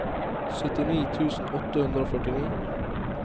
syttini tusen åtte hundre og førtini